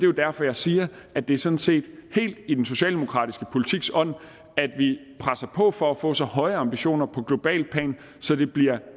jo derfor jeg siger at det sådan set er helt i den socialdemokratiske politiks ånd at vi presser på for at få så høje ambitioner på globalt plan så det bliver